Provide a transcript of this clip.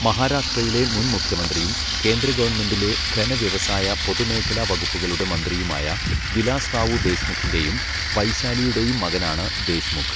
മഹാരാഷ്ട്രയിലെ മുൻ മുഖ്യമന്ത്രിയും, കേന്ദ്രഗവൺമെൻറ്റിലെ ഘനവ്യവസായ, പൊതുമേഖലാവകുപ്പുകളുടെ മന്ത്രിയുമായ, വിലാസ് റാവു ദേശ്മുഖിൻ്റെയും വൈശാലിയുടെയും മകനാണ് ദേശ്മുഖ്.